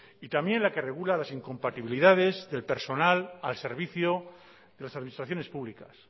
y también la que regula las incompatibilidades del personal al servicio de las administraciones públicas